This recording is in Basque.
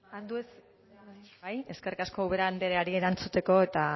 bai eskerrik asko ubera andreari erantzuteko eta